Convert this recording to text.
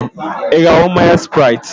Ị ga-aṅụ mmanya spraiti?